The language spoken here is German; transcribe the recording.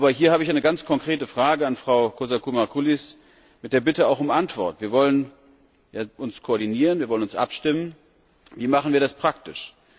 Aber hier habe ich eine ganz konkrete Frage an Frau Kozakou Marcoullis, mit der Bitte um Antwort Wir wollen uns koordinieren, wir wollen uns abstimmen, wie machen wir das praktisch?